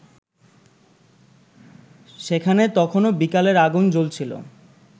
সেখানে তখনো বিকালের আগুন জ্বলছিলো